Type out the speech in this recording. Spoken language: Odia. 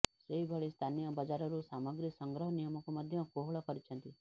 ସେହିଭଳି ସ୍ଥାନୀୟ ବଜାରରୁ ସାମଗ୍ରୀ ସଂଗ୍ରହ ନିୟମକୁ ମଧ୍ୟ କୋହଳ କରିଛନ୍ତି